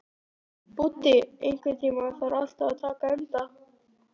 Búddi, einhvern tímann þarf allt að taka enda.